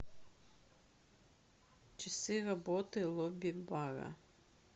часы работы лобби бара